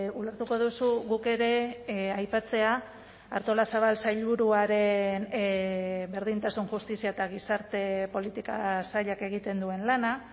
ulertuko duzu guk ere aipatzea artolazabal sailburuaren berdintasun justizia eta gizarte politika sailak egiten duen lana